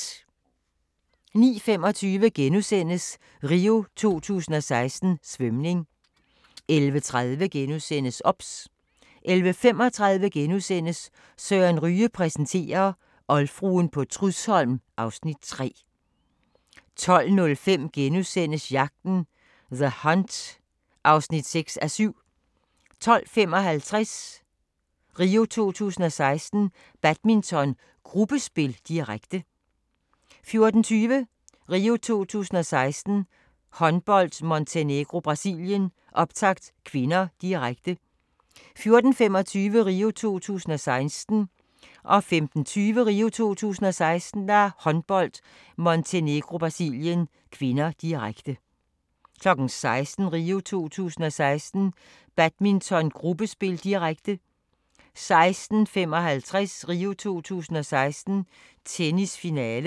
09:25: RIO 2016: Svømning * 11:30: OBS * 11:35: Søren Ryge præsenterer - oldfruen på Trudsholm (Afs. 3)* 12:05: Jagten – The Hunt (6:7)* 12:55: RIO 2016: Badminton, gruppespil, direkte 14:20: RIO 2016: Håndbold - Montenegro-Brasilien, optakt (k), direkte 14:25: RIO 2016: Håndbold - Montenegro-Brasilien (k), direkte 15:20: RIO 2016: Håndbold - Montenegro-Brasilien (k), direkte 16:00: RIO 2016: Badminton, gruppespil, direkte 16:55: RIO 2016: Tennis, finale